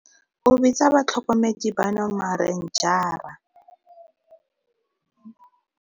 O bitsa batlhokomedi bano 'marenjara' gonne ba tshameka karolo e e botlhokwa mo go lwantsheng bosenyi jwa tikologo, jaaka go bolawa ga ditshukudu.